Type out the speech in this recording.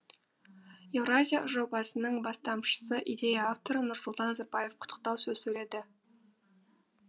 еуразия жобасының бастамшысы идея авторы нұрсұлтан назарбаев құттықтау сөз сөйлейді